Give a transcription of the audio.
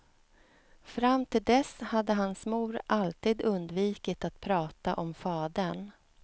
Fram till dess hade hans mor alltid undvikit att prata om fadern.